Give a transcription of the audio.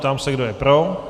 Ptám se, kdo je pro.